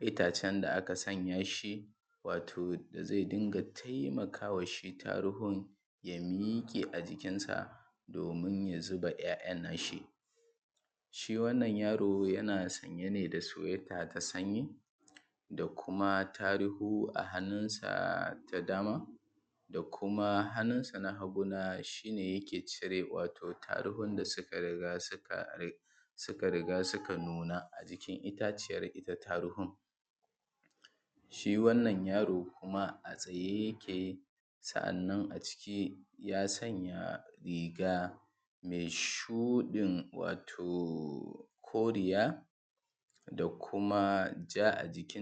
itacen da aka sanya shi wato zai dinga taimakawa shi taruhun ya miƙe a jikinsa, domin ya zuba ‘ya’yan nashi. Shi wannan yaro yana sanye ne da sweater na sanyi da kuma tarihu a hannun sa ta dama da kuma hannun san a hagu na shi ne yake cire wato tarugun da suka riga suka suka riga suka nuna a jikin itaciyar ita taruhun. Shi wannan yaro kuma a tsaye yake, sa’annan aciki ya sanya riga mai shuɗin wato koriya da kuma ja a jiki.